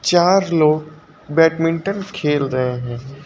चार लोग बैडमिंटन खेल रहे हैं।